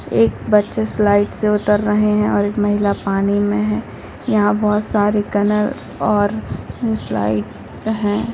एक बच्चा स्लाइड से उतर रहे है और एक महिला पानी मे है| यहां बहुत सारे कलर और स्लाइड है।